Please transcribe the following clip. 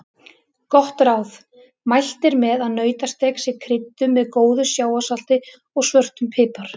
Gott ráð: Mælt er með að nautasteik sé krydduð með góðu sjávarsalti og svörtum pipar.